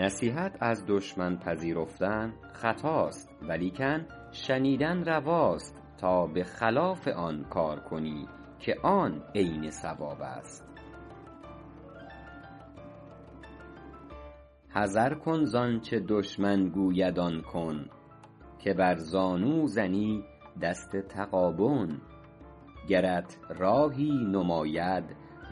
نصیحت از دشمن پذیرفتن خطاست ولیکن شنیدن رواست تا به خلاف آن کار کنی که آن عین صواب است حذر کن زآنچه دشمن گوید آن کن که بر زانو زنی دست تغابن گرت راهی نماید